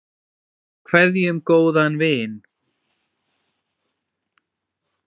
Við kveðjum góðan vin.